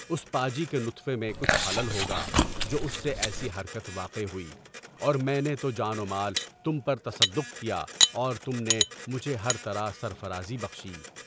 اُس پا جی کے نطفے میں کچھ خلل ہوگا جو اُس سے ایسی حرکت واقع ہوئی اور میں نے تو جان ومال تم پر تصدّق کیا اور تم نے مجھے ہر طرح سر فرازی کی۔